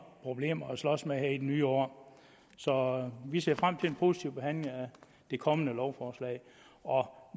problemer at slås med her i det nye år så vi ser frem til en positiv behandling af det kommende lovforslag og